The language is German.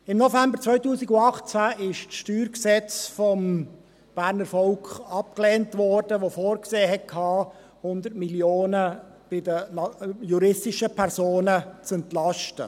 Im November 2018 wurde das Steuergesetz (StG) vom Berner Volk abgelehnt, welches vorsah, die juristischen Personen um 100 Mio. Franken zu entlasten.